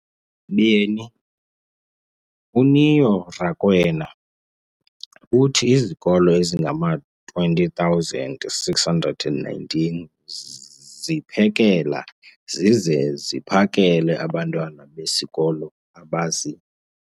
beni, uNeo Rakwena, uthi izikolo ezingama-20 619 ziphekela zize ziphakele abantwana besikolo abazi-